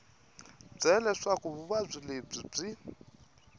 byele leswaku vuvabyi lebyi byi